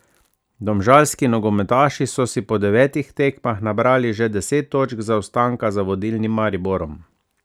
Domžalski nogometaši so si po devetih tekmah nabrali že deset točk zaostanka za vodilnim Mariborom.